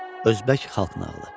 Özbək xalq nağılı.